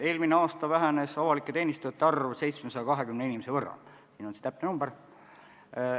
Eelmine aasta vähenes avalikus teenistuses töötajate arv 720 inimese võrra, see on täpne number.